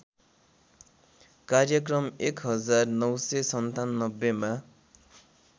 कार्यक्रम १९९७ मा